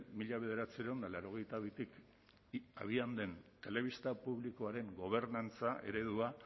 mila bederatziehun eta laurogeita bitik abian den telebista publikoaren gobernantza eredua